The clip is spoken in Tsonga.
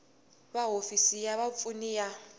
va hofisi ya vapfuni ya